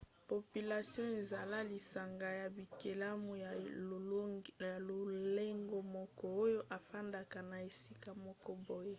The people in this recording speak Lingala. population eza lisanga ya bikelamu ya lolenge moko oyo efandaka na esika moko boye